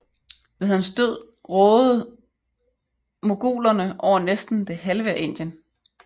Ved hans død rådede mogulerne over næsten det halve af Indien